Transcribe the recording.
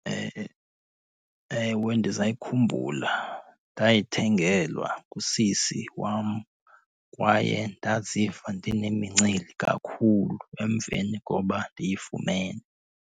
Ewe, ndisayikhumbula. Ndayithengelwa ngusisi wam kwaye ndaziva ndinemincili kakhulu emveni koba ndiyifumene.